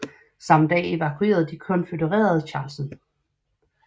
Samme dag evakuerede de konfødererede Charleston